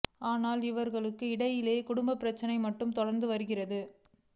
ஆனாலும் இருவர் இடையிலான குடும்ப பிரச்னை மட்டும் தொடர்ந்து வருகிறது